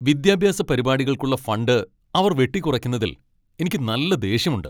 വിദ്യാഭ്യാസ പരിപാടികൾക്കുള്ള ഫണ്ട് അവർ വെട്ടിക്കുറയ്ക്കുന്നതിൽ എനിക്ക് നല്ല ദേഷ്യമുണ്ട്.